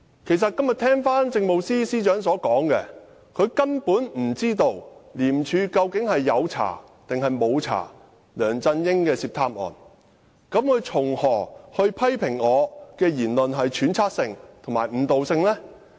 今天政務司司長說，她根本不知道廉政公署有否調查梁振英涉貪案，試問她怎能批評我的言論是揣測性及誤導性？